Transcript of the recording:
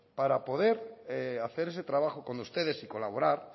para poder hacer ese trabajo con ustedes y colaborar